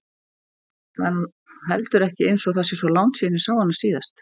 Það er nú heldur ekki einsog það sé svo langt síðan ég sá hana síðast.